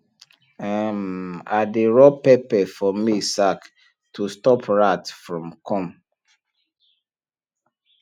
um i dey rub pepper for maize sack to stop rat from come